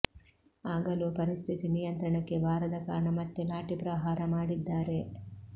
ಆಗಲೂ ಪರಿಸ್ಥಿತಿ ನಿಯಂತ್ರಣಕ್ಕೆ ಬಾರದ ಕಾರಣ ಮತ್ತೆ ಲಾಠಿ ಪ್ರಹಾರ ಮಾಡಿದ್ದಾರೆ